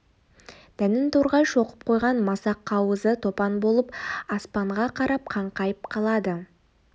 дәнін торғай шоқып қойған масақ қауызы топан болып аспанға қарап қаңқайып қалады